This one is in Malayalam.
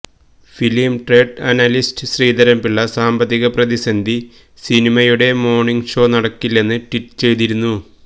film trade analyst Sreedhar Pillai സാമ്പത്തിക പ്രതിസന്ധി സിനിമയുടെ മോണിങ് ഷോ നടക്കില്ലെന്ന് ട്വീറ്റ് ചെയ്തിരുന്നു